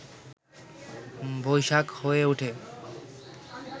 বৈশাখ হয়ে উঠে